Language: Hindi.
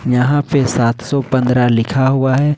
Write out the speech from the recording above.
यहां पे सात सौ पंद्रह लिखा हुआ है।